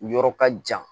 Yɔrɔ ka jan